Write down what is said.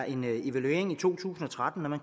en evaluering i to tusind og tretten